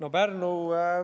Aitäh!